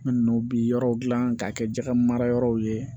Minnu bi yɔrɔw gilan k'a kɛ jaga mara yɔrɔ ye